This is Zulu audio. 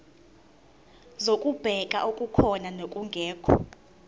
zokubheka okukhona nokungekho